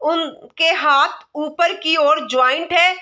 उन के हाथ ऊपर की ओर जॉइंट है।